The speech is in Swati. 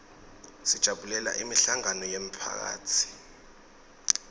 sijabulela imihlangano yemphakatsi